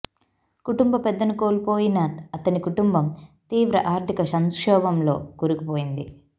కుటుంబ పెద్దను కోల్పోయిన అతని కుటుంబం తీవ్ర ఆర్థిక సంక్షోభంలో కూరుకుపోయింది